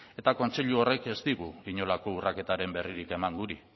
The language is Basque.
eta kontseilu horrek ez digu inolako urraketaren berririk eman guri